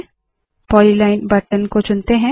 polyline button polyline button को चुनते है